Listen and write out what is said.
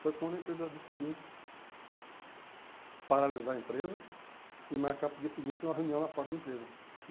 Foi quando a empresa decidiu paralisar a empresa e marcar para o dia seguinte uma reunião na porta da empresa.